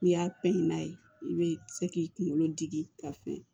N'i y'a pɛtɛn n'a ye i be se k'i kunkolo digi ka fɛn